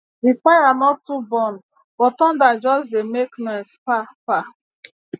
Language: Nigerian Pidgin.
the fire no too burn but thunder just dey make noise pa pa